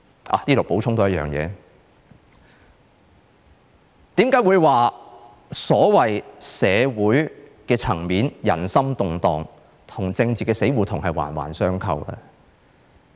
在此多補充一點，為何我會說在社會層面人心動盪，與政治的死胡同是環環相扣呢？